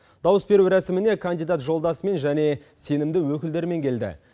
дауыс беру рәсіміне кандидат жолдасымен және сенімді өкілдерімен келді